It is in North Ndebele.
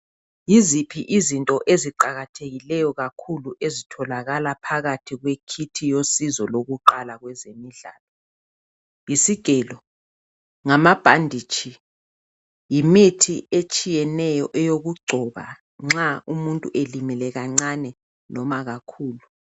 Yiziphi izinto eziqakathekileyo kakhulu ezitholakala phakathi kwe kit yosizo lokuqala kwezemidlalo? Yisigelo, ngamabhanditshi ,yimithi etshiyeneyo eyokugcoba nxa umuntu elimele kancane noma kakhulu.